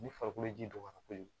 Ni farikolo ji donna kojugu